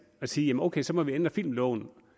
at sige okay så må vi ændre filmloven